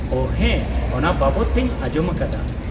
-ᱳᱺ, ᱦᱮᱸ ᱚᱱᱟ ᱵᱟᱵᱚᱫ ᱛᱮᱧ ᱟᱸᱡᱚᱢ ᱟᱠᱟᱫᱟ ᱾